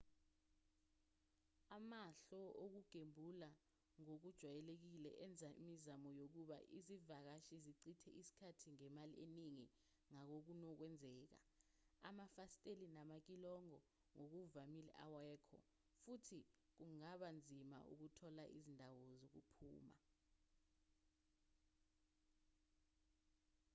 amahhlo okugembula ngokujwayelekile enza imizamo yokuba izivakashi zichithe isikhathi nemali eningi ngangokunokwenzeka amafasitela namakilogo ngokuvamile awekho futhi kungaba nzima ukuthola izindawo zokuphuma